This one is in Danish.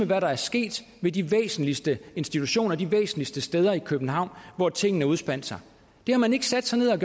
hvad der var sket ved de væsentligste institutioner de væsentligste steder i københavn hvor tingene udspandt sig det har man ikke sat sig ned og